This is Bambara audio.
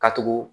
Ka tugu